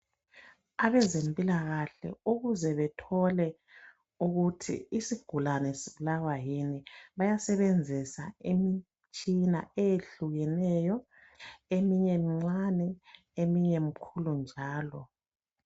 Abezempilakahle ukuze bethole ukuthi isigulane sibulawa yini bayasebenzisa imitshina eyehlukeneyo eminye mincane eminye mikhulu njalo.